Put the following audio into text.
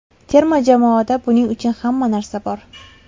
Terma jamoada buning uchun hamma narsa bor.